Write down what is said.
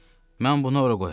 Mən bunu ora qoyacam.